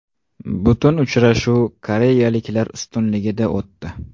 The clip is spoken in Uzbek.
Butun uchrashuv koreyaliklar ustunligida o‘tdi.